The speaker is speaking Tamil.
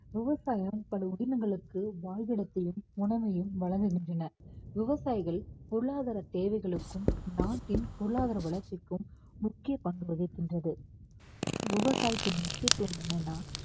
விவசாயம் பல உதினங்களுக்கு வாழ்விடத்தையும் உணவையும் வழங்குகின்றன. விவசாயிகள் பொருளாதார தேவைகளுக்கும் நாட்டின் பொருளாதார வளர்ச்சிக்கும் முக்கிய பங்கு வகிக்கின்றது விவசாயத்தின் முக்கியத்துவம் என்னன்னா